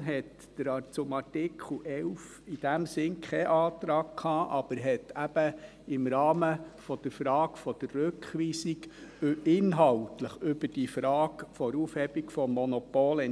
Die FiKo hatte zu Artikel 11 in dem Sinn keinen Antrag, entschied aber im Rahmen der Frage der Rückweisung inhaltlich über die Frage der Aufhebung des Monopols